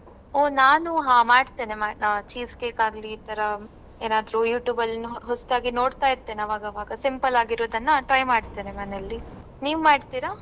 ಓ ನಾನು ಹ ಮಾಡ್ತೇನೆ ಮಾಡ್ ಆ cheese cake ಆಗ್ಲಿ ಈತರ ಏನಾದ್ರು YouTube ಅಲ್ಲಿ ಹೊಸ್ದಾಗಿ ನೋಡ್ತಾ ಇರ್ತೇನೆ ಅವಗಾವಗ simple ಆಗಿ ಇರುದನ್ನ try ಮಾಡ್ತೇನೆ ಮನೆಯಲ್ಲಿ. ನೀವ್ ಮಾಡ್ತಿರಾ?